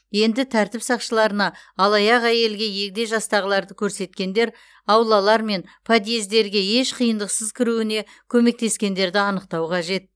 енді тәртіп сақшыларына алаяқ әйелге егде жастағыларды көрсеткендер аулалар мен подъездерге еш қиындықсыз кіруіне көмектескендерді анықтау қажет